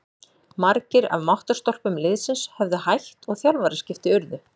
Margir af máttarstólpum liðsins höfðu hætt og þjálfaraskipti urðu.